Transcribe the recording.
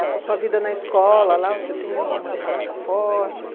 Essa sua vida na escola lá, você tem alguma lembrança forte?